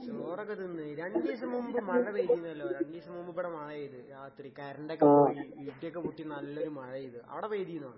ചോറൊക്കെ തിന്ന്. രണ്ടീസം മുൻപ് മഴ പെയ്തീനല്ലോ? രണ്ടീസം മുമ്പിവടെ മഴ പെയ്ത് രാത്രി കറന്റൊക്കെ പോയി, ഇടിയൊക്കെ പൊട്ടി നല്ലൊരു മഴ പെയ്ത്. അവടെ പെയ്തീന്നാ?